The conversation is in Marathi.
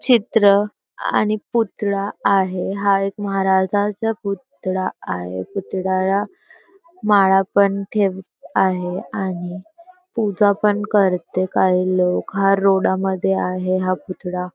चित्र आणि पुतळा आहे हा एक महाराजांचा पुतळा आहे पुतळ्याला माळा पण ठेव आहे आणि पूजा पण करते काही लोक हा रोडा मध्ये हा पुतळा --